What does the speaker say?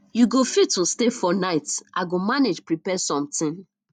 you go fit um stay for night i go manage prepare something